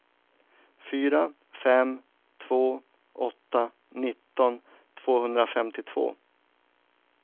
fyra fem två åtta nitton tvåhundrafemtiotvå